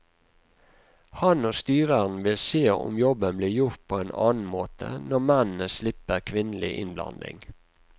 Han og styreren vil se om jobben blir gjort på en annen måte, når mennene slipper kvinnelig innblanding.